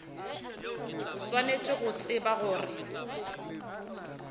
o swanetše go tseba gore